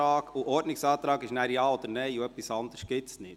Zum Ordnungsantrag gibt es ein Ja oder ein Nein, etwas anderes gibt es nicht.